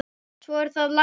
Svo er það laxinn.